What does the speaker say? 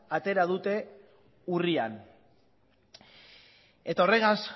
atera dute urrian eta horregaz